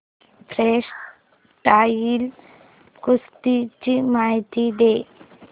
freestyle कुस्ती ची माहिती दे